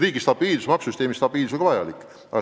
Riigi stabiilsus ja maksusüsteemi stabiilsus on vajalik.